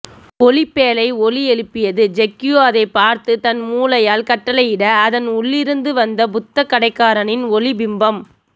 ஒளிப்பேழை ஒலி எழுப்பியது ஜெக்யூ அதை பார்த்து தன் மூளையால் கட்டளையிட அதன் உள்ளிருந்து வந்த புத்தக்கடைகாரனின் ஒளி பிம்பம்